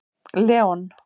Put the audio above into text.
Leon